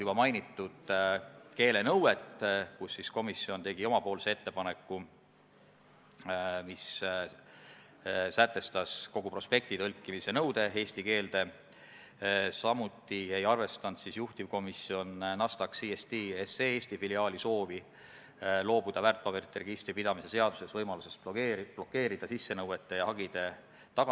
Kuna, nagu ma aru saan, puuetega inimeste koda on Sotsiaalministeeriumi mõjusfääris ja Sotsiaalministeerium oli märkusteta selle eelnõu kooskõlastanud ning komisjonis ei tõusnud küsimust täiendavast kooskõlastusest, siis ma saan siin lähtuda ainult komisjoni seisukohast, et vastavalt sellele informatsioonile tuleb seda muudatusettepanekut toetada.